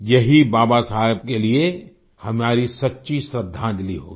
यही बाबा साहब के लिये हमारी सच्ची श्रद्धांजलि होगी